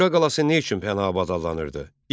Şuşa qalası nə üçün Pənahabad adlanırdı?